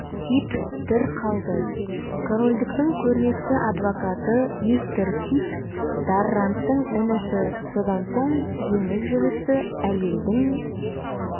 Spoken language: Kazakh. кит дір қалды корольдіктің көрнекті адвокаты мистер кит дарранттың інісі сонан соң жеңіл жүрісті әйлдің